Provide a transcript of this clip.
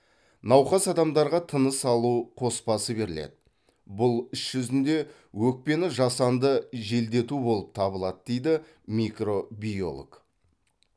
науқас адамдарға тыныс алу қоспасы беріледі бұл іс жүзінде өкпені жасанды желдету болып табылады дейді микробиолог